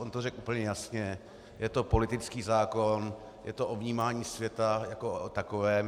On to řekl to jasně: je to politický zákon, je to o vnímání světa jako o takovém.